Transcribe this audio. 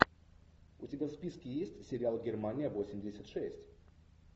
у тебя в списке есть сериал германия восемьдесят шесть